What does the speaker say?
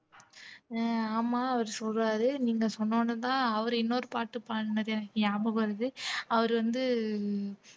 அஹ் ஆமா அவரு சொல்றாரு நீங்க சொன்ன உடனேதான் அவரு இன்னொரு பாட்டு பாடினது எனக்கு ஞாபகம் வருது அவரு வந்து